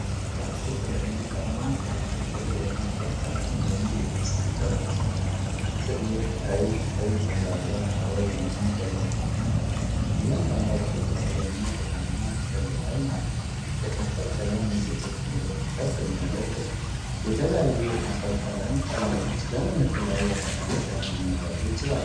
አራት የተለያዩ ቀለማት ያላቸው የከንፈር ቀለም (ሊፕስቲክ) ቀርበዋል፣ ጥልቅ ቀይ፣ ቀይ፣ ፈዛዛ ሮዝ እና ገለልተኛ ቀለም። እያንዳንዳቸው ጥቁር እና ብርማ ጥቅል ላይ ናቸው። የከንፈር ቀለም የሴቶችን ውበት ከፍ የሚያደርግ ነው። የተለያዩ የከንፈር ቀለም ቀለሞች ለምን የተለያዩ አጋጣሚዎች ላይ ሊመረጡ ይችላሉ?